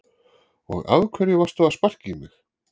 Og af hverju varstu að sparka í mig?